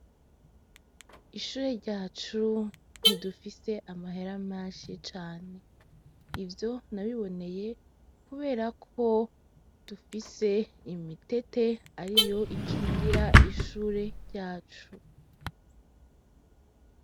Ishure ryacu ntidufise amahera menshi cane. Ivyo nabibonye kubera ko dufise imitete ariyo ikingira ishure ryacu.